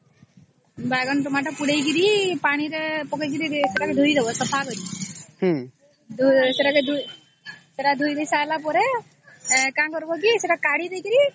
ବାଇଗଣ ଟମାଟୋ ପୋଡ଼ିକିରି ସେଟା ପାଣି ରେ ପକେଇ ଦବ ସଫା କରିକି ସେଟାକେ ଧୁଇ ଦେଇ ସରିଲା ପରେ କଣ କରିବା କି ସେଟା କାଢି କରି